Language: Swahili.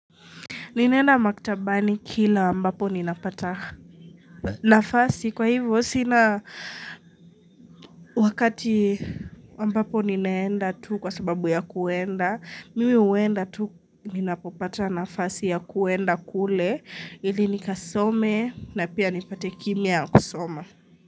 Ninaenda maktabani kila ambapo ninapata nafasi kwa hivyo sina wakati ambapo ninaenda tu kwa sababu ya kuenda mimi huenda tu ninapopata nafasi ya kuenda kule ili nikasome na pia nipate kimya ya kusoma.